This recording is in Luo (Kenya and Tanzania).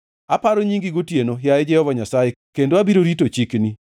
Aparo nyingi gotieno, yaye Jehova Nyasaye, kendo abiro rito chikni.